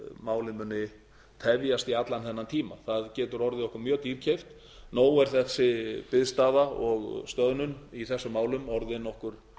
málin munu tefjast í allan þennan tíma það getur orðið okkur mjög dýrkeypt nóg er þessi biðstaða og stöðnun í þessum málum orðin okkur